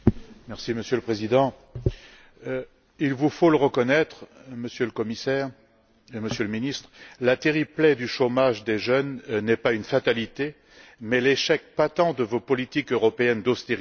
Monsieur le Président, il vous faut le reconnaître, Monsieur le Commissaire et Monsieur le Ministre, la terrible plaie du chômage des jeunes n'est pas une fatalité, mais l'échec patent de vos politiques européennes d'austérité.